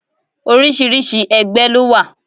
Oríṣiríṣi ẹgbẹ́ lówà.